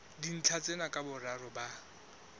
dintlha tsena ka boraro ba